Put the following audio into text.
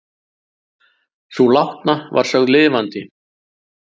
Sú látna var sögð lifandi